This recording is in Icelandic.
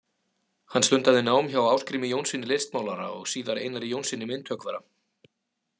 Hann stundaði nám hjá Ásgrími Jónssyni listmálara og síðar Einari Jónssyni myndhöggvara.